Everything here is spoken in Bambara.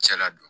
Cɛ ladon